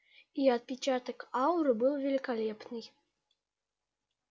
и отпечаток ауры был великолепный